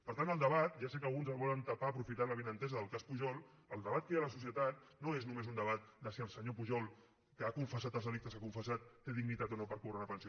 per tant el debat ja sé que alguns el volen tapar aprofitant l’avinentesa del cas pujol que hi ha a la societat no és només un debat de si el senyor pujol que ha confessat els delictes que ha confessat té dignitat o no per cobrar una pensió